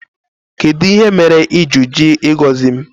kedụ ihe mere bú n'iji jụ ịgozi m?